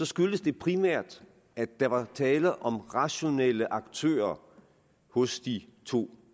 skyldtes det primært at der var tale om rationelle aktører hos de to